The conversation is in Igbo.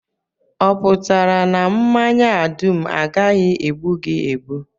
Ọ pụtara na mmanya a dum agaghị egbu gị egbu?